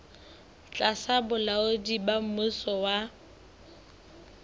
tlasa bolaodi ba mmuso wa